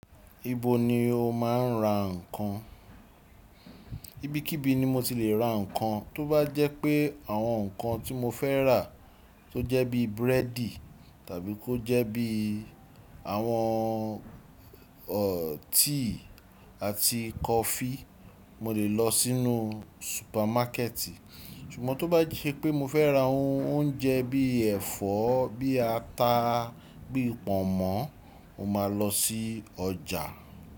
Ibo ni o máa ń ra ǹkan? Ibikíbi ni mo ti lè ra ǹkan. Tó bá jẹ́ pé àwọn ǹkan tí mo fẹ́ rà, tó jẹ́ bí búrẹ́dì tàbí kó jẹ́ bí àwọn ọ̀, tíì àti kọfí, mo lè lọ sínú supermarket. Ṣùgbọ́n tó bá ṣe pé mo fẹ́ ra oúnjẹ bí ẹ̀fọ́, bí ata, bí pọ̀nmọ́, mo máa lọ sí ọjà.